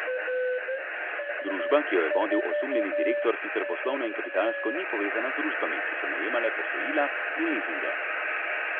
Družba, ki jo je vodil osumljeni direktor sicer poslovno in kapitalsko ni povezana z družbami, ki so najemale posojila in lizinge.